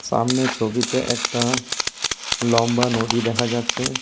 আমনে ছবিতে একটা লম্বা নদী দেখা যাচ্ছে।